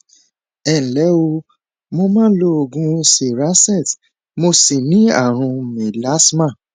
ẹ nlẹ o mo ń mọ ń lo oògùn cerazette mo sì ní ààrùn mélasma